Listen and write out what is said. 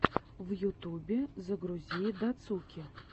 в ютубе загрузи дацуки